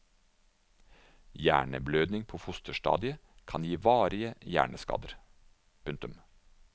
Hjerneblødning på fosterstadiet kan gi varige hjerneskader. punktum